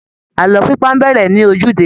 Àlọ́ pípa á bẹ̀rẹ̀ ní ojúde